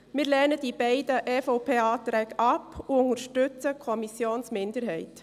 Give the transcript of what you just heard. Wir lehnen die beiden EVP-Anträge ab und unterstützen die Kommissionsminderheit.